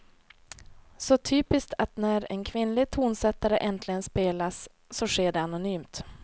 Så typiskt att när en kvinnlig tonsättare äntligen spelas, så sker det anonymt.